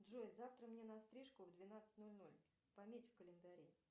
джой завтра мне на стрижку в двенадцать ноль ноль пометь в календаре